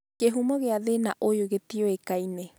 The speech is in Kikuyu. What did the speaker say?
Kĩhumo kia thĩna ũyũ gĩtiũĩkaine